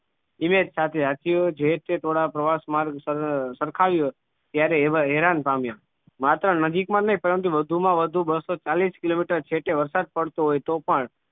સાથે હાથીઓ જે ટોળાં પ્રવાસ માર્ગ સર સરખાવ્યો ત્યારે એવા હેરાન પામ્યા માત્ર નજીક માં નહિ પરંતુ વધુ માં વધુ બસો ચાલીશ કિલોમીટર છેવટે વરસાદ પડતો હોય તો પણ